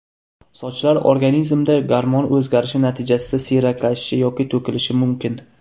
Sochlar organizmda gormon o‘zgarishi natijasida siyraklashishi yoki to‘kilishi mumkin.